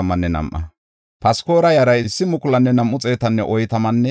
Libana yara, Agaba yara, Aquba yara,